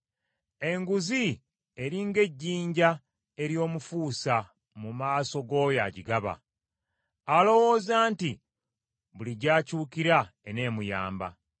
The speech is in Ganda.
Enguzi eri ng’ejjinja ery’omufuusa mu maaso g’oyo agigaba, alowooza nti buli gy’akyukira eneemuyamba.